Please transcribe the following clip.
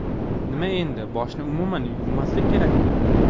Nima, endi boshni umuman yuvmaslik kerakmi?